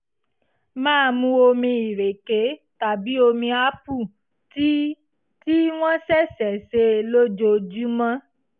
máa mu omi ìrèké tàbí omi aápù tí tí wọ́n ṣẹ̀ṣẹ̀ sè lójoojúmọ́